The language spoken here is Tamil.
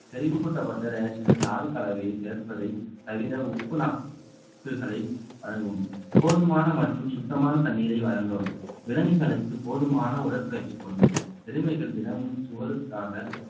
செறிவூட்டப்பட்ட ரேஷன்களில் தாதுக் கலவையை சேர்ப்பதை தவிர உப்பு வழங்கும் போதுமான மற்றும் சுத்தமான தண்ணீரை வழங்கவும் விலங்குகளுக்கு போதுமான உடற்பயிற்சி கொடுங்கள் எருமைகள் தினமும் சுவருக்காக